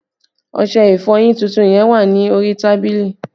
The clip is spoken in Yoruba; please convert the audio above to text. Ọṣẹ ìfọyín tuntun yẹn wà ní orí tábìlì